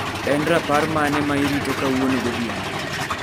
En rapar mane ma irito kawuono godhiambo.